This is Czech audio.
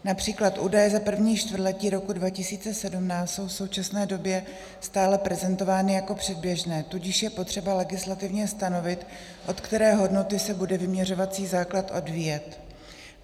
Například údaje za první čtvrtletí roku 2017 jsou v současné době stále prezentovány jako předběžné, tudíž je potřeba legislativně stanovit, od které hodnoty se bude vyměřovací základ odvíjet.